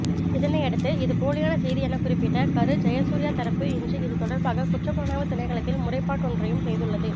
இதனையடுத்து இது போலியான செய்தியெனக்குறிப்பிட்ட கரு ஜயசூரியா தரப்புஇன்று இது தொடர்பாக குற்றப்புலனாய்வு திணைக்களத்தில் முறைப்பாடொன்றையும் செய்துள்ளது